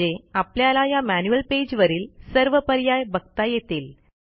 म्हणजे आपल्याला या मॅन्युअल पेज वरील सर्व पर्याय बघता येतील